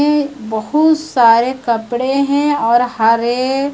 यें बहुत सारे कपड़े हैं और हरे--